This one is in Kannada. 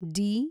ಡಿ